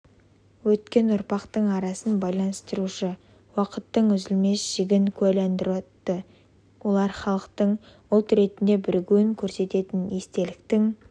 өткен ұрпақтың арасын байланыстырушы уақыттың үзілмес жігін куәландырады олар халықтың ұлт ретінде бірігуін көрсететін естеліктің